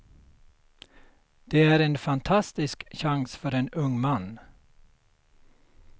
Det är en fantastisk chans för en ung man.